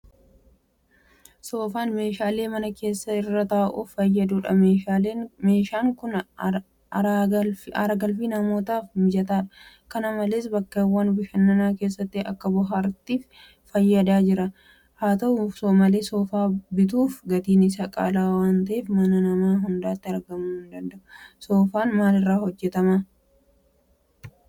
Soofaan meeshaa mana keessaa irra taa'uuf fayyadudha. Meeshaan kun aaragalfii namootaaf mijataadha. Kana malees bakkeewwan bashannanaa keessatti akka bohaartiittis fayyadaa jira. Haata'u malee Soofaa bituuf gatiin isaa qaala'aa waanta'eef mana nama hundaatti hinargamu. Soofaan maal irraa hojjetama?